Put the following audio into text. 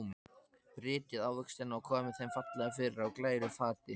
Brytjið ávextina og komið þeim fallega fyrir á glæru fati.